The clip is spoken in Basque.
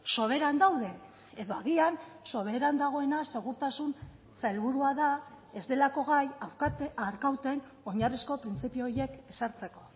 soberan daude edo agian soberan dagoena segurtasun sailburua da ez delako gai arkauten oinarrizko printzipio horiek ezartzeko